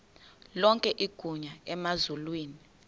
lonke igunya emazulwini